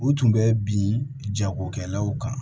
U tun bɛ bin jagokɛlaw kan